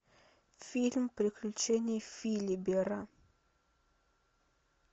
фильм приключения филибера